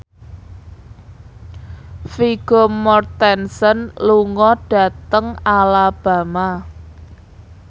Vigo Mortensen lunga dhateng Alabama